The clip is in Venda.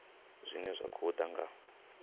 zwine zwa khou ḓa nga